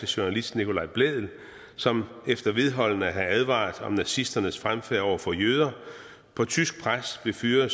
journalist nicolai blædel som efter vedholdende at have advaret om nazisternes fremfærd over for jøder på tysk pres blev fyret